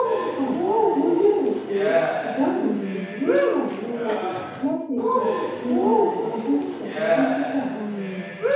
um mo lérò pé ìdáhùn yìí yóò ràn ọ lọwọ láti um wéwèé ìtọjú pẹlú dókítà um rẹ